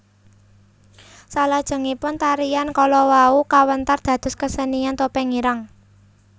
Salajengipun tarian kala wau kawentar dados kesenian Topeng Ireng